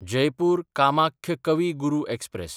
Jaipur Kamakhya Kavi Guru express